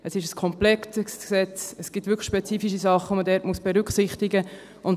Es ist ein komplexes Gesetz, es gibt wirklich spezifische Dinge, die man berücksichtigen muss.